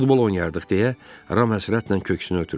Futbol oynayardıq deyə Ram həsrətlə köksünü ötürdü.